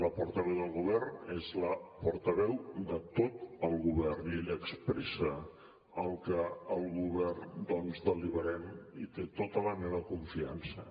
la portaveu del govern és la portaveu de tot el govern i ella expressa el que al govern deliberem i té tota la meva confiança